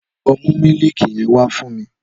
Lọ mú mílìkì yen wà fún mi!